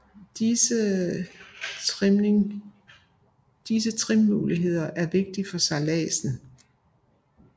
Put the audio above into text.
Disse trimmuligheder er vigtige for sejladsen